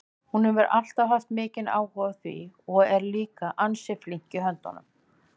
Hún hefur alltaf haft mikinn áhuga á því og er líka ansi flink í höndunum.